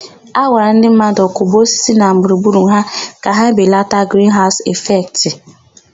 A gwara ndị mmadụ kụba osisi na gburugburu ha ka ebelata grinhaụsụ ịfektị.